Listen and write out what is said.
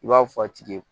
I b'a fɔ a tigi ye